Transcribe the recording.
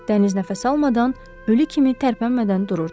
Dəniz nəfəs almadan, ölü kimi tərpənmədən dururdu.